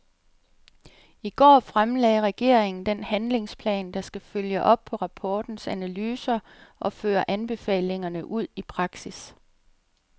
I går fremlagde regeringen den handlingsplan, der skal følge op på rapportens analyser og føre anbefalingerne ud i praksis.